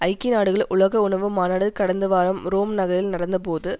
ஐக்கிய நாடுகள் உலக உணவு மாநாடு கடந்த வாரம் ரோம் நகரில் நடந்தபோது